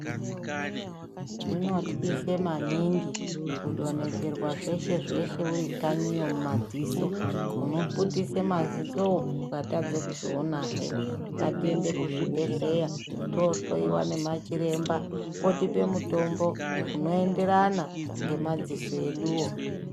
Zvinotyise maningi kudonhedzerwa zveshe zveshe uri kanyiwo mu madziso uno putisa maziso wo ukatadza kuzoona hee ngatiende ku zvibhedhlera to hloyiwa nema chiremba otipe mutombo uno enderana ne madziso edu wo.